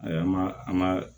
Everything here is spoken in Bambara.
Ayi an ma an ma